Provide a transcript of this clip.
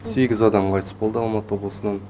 сегіз адам қайтыс болды алматы облысынан